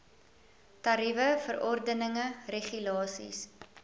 tariewe verordeninge regulasies